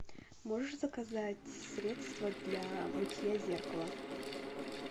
можешь заказать средство для мытья зеркала